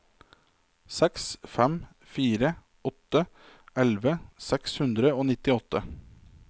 seks fem fire åtte elleve seks hundre og nittiåtte